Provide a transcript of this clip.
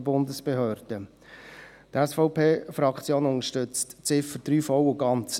Die SVP-Fraktion unterstützt die Ziffer 3 voll und ganz.